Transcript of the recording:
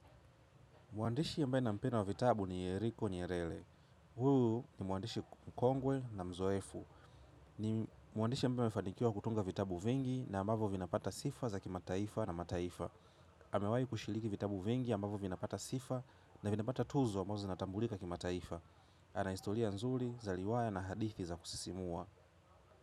Mwandishi ambaye ninampenda wa vitabu ni Yeriko Nyerere huu ni mwandishi mkongwe na mzoefu ni mwandishi ambaye amefanikiwa kutunga vitabu vingi na ambavyo vinapata sifa za kimataifa na mataifa. Amewahi kushiriki vitabu vingi ambavyo vinapata sifa na vinapata tuzo ambazo zinatambulika kimataifa. Ana historia nzuri za riwaya na hadithi za kusisimua.